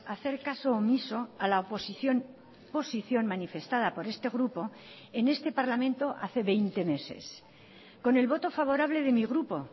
hacer caso omiso a la oposición posición manifestada por este grupo en este parlamento hace veinte meses con el voto favorable de mi grupo